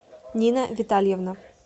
нина витальевна